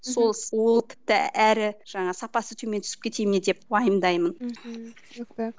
мхм сол ол тіпті әрі жаңағы сапасы төмен түсіп кете ме деп уайымдаймын мхм жақсы